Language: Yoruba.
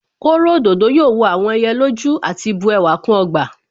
Kóro òdòdó yóò wọ àwọn ẹyẹ lójú àti bu ẹwà kún ọgbà